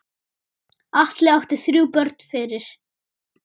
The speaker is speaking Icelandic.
Atli átti þrjú börn fyrir.